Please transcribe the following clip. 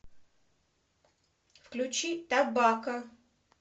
включи тобакко